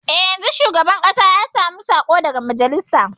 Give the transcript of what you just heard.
E, yanzun shugaban ƙasa ya sami saƙo daga majalisa.